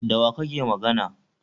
Da wa kake magana?